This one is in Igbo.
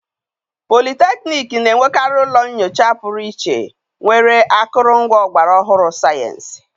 politekniiki na-enwekarị ụlọ nnyocha pụrụ iche nwere akụrụngwa ọgbara ọhụrụ sayensị.